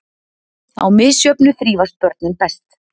Á misjöfnu þrífast börnin best.